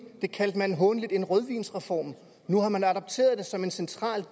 kaldte man hånligt en rødvinsreform nu har man adopteret det som en central